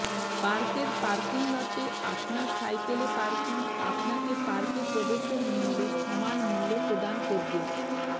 পার্কের পার্কিং লটে আপনার সাইকেলে পার্কিং আপনাকে পার্কে প্রবেশের মূল্যের সমান মূল্য প্রদান করবে